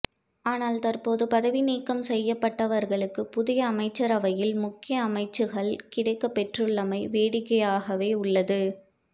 ஆனால் தற்போது பதவி நீக்கம் செய்யப்பட்டவர்களுக்கு புதிய அமைச்சரவையில் முக்கிய அமைச்சுக்கள் கிடைக்கப்பெற்றுள்ளமை வேடிக்கையாகவே உள்ளது